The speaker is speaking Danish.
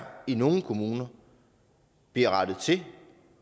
i nogle kommuner bliver rettet til